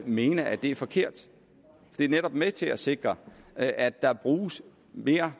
mene at det er forkert det er netop med til at sikre at at der bruges mere